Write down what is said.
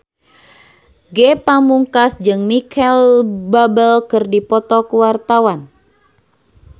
Ge Pamungkas jeung Micheal Bubble keur dipoto ku wartawan